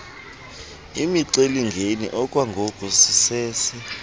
imicelimngeni okwangoku sisese